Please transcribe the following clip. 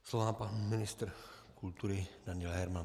Slovo má pan ministr kultury Daniel Herman.